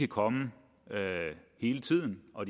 komme hele tiden og